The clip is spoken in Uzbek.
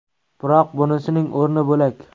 Biroq bunisining o‘rni bo‘lak.